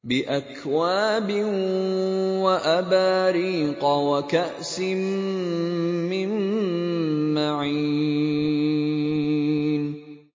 بِأَكْوَابٍ وَأَبَارِيقَ وَكَأْسٍ مِّن مَّعِينٍ